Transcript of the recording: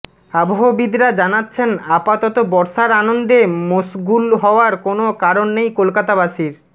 আবহবিদরা জানাচ্ছেন আপাতত বর্ষার আনন্দে মশগুল হওয়ার কোনও কারণ নেই কলকাতাবাসীর